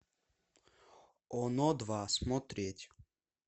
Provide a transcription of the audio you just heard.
оно два смотреть